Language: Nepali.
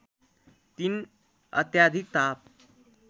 ३ अत्याधिक ताप